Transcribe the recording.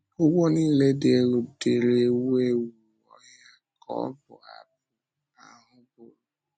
“Úgwù niile dị elu dịrị ewu ewu ọhịa,” ka ọbụ abụ ahụ bụrụ.